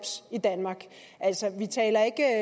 i danmark altså vi taler ikke